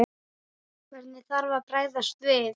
Hvernig þarf að bregðast við?